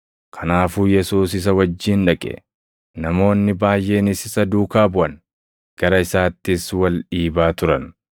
Kanaafuu Yesuus isa wajjin dhaqe. Namoonni baayʼeenis isa duukaa buʼan; gara isaattis wal dhiibaa turan.